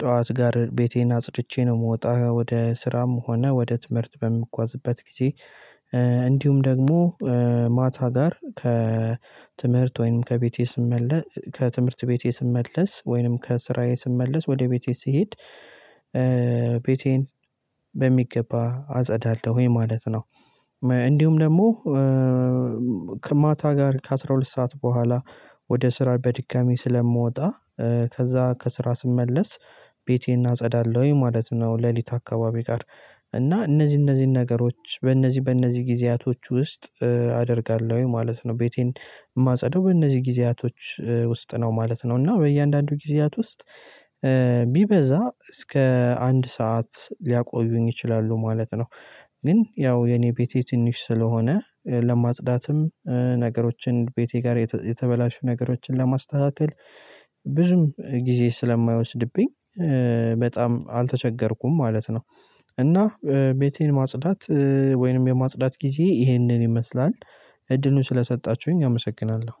ጠዋት ጋር ቤቴን አጽድቼ ነው የምወጣው ወደ ስራም ሆነ ወደ ትምህርት በምጓዝበት ጊዜ። እንዲሁም ደግሞ ማታ ጋር ከትምህርት ወይንም ከቤቴ ስመለስ ከትምህርት ቤቴ ስመለስ ወይንም ከስራዬ ስመለስ ወደ ቤቴ ስሄድ ቤቴን በሚገባ አጸዳለሁኝ ማለት ነው። እንዲሁም ደግሞ ከማታ ጋር ከአሥራ ሁለት ሰዓት በኋላ ወደ ስራ በድጋሚ ስለምወጣ። ከዛ ከስራ ስመለስ ቤቴን አጸዳለሁ ማለት ነው። ሌሊት አካባቢ ጋር እና እነዚህ እነዚህን ነገሮች በእነዚህ በእነዚህ ጊዜያቶች ውስጥ አደርጋለሁ ማለት ነው። ቤቴን የማጸዳው በእነዚህ ጊዜያቶች ውስጥ ነው ማለት ነው። እና በእያንዳንዱ ጊዜያት ውስጥ ቢበዛ እስከ አንድ ሰዓት ሊያቆዩኝ ይችላሉ ማለት ነው። ግን ያው የኔ ቤቴ ትንሽ ስለሆነ ለማጽዳትም ነገሮችን ቤቴ ጋር የተበላሹ ነገሮችን ለማስተካከል ብዙም ጊዜ ስለማይወስድብኝ በጣም አልተቸገርኩም ማለት ነው። እና ቤቴን ማጽዳት ወይንም የማጽዳት ጊዜ ይህንን ይመስላል። እድሉን ስለሰጣችሁኝ አመሰግናለሁ።